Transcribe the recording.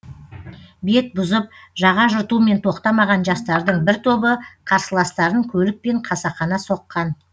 бет бұзып жаға жыртумен тоқтамаған жастардың бір тобы қарсыластарын көлікпен қасақана соққан